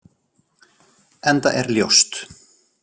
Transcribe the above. Enda er ljóst.